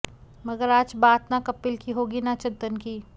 मगर आज बात न कपिल की होगी न चंदन की